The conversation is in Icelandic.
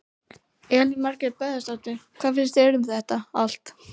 Elín Margrét Böðvarsdóttir: Hvað finnst þér um þetta allt?